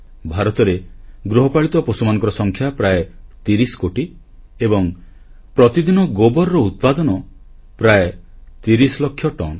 ଭାରତରେ ଗୃହପାଳିତ ପଶୁମାନଙ୍କର ସଂଖ୍ୟା ପ୍ରାୟ 30 କୋଟି ଏବଂ ପ୍ରତିଦିନ ଗୋବରର ଉତ୍ପାଦନ ପ୍ରାୟ 30 ଲକ୍ଷ ଟନ୍